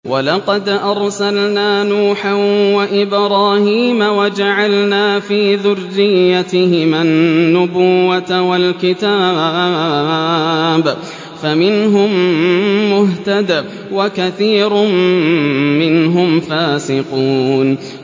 وَلَقَدْ أَرْسَلْنَا نُوحًا وَإِبْرَاهِيمَ وَجَعَلْنَا فِي ذُرِّيَّتِهِمَا النُّبُوَّةَ وَالْكِتَابَ ۖ فَمِنْهُم مُّهْتَدٍ ۖ وَكَثِيرٌ مِّنْهُمْ فَاسِقُونَ